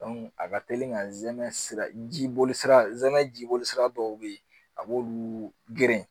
a ka teli ka zɛmɛ sira jiboli sira ɛn jibolisira dɔw bɛ ye a b'olu geren